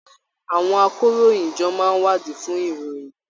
Àwọn àkòróyinjọ́ máa n wadii fún ìròyìn.